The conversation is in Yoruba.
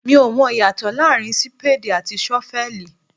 Mi ò mọ ìyàtọ̀ láàárín Sípéèdì àti ṣọ́vẹ́lì.